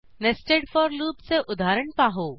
nested for लूपचे उदाहरण पाहू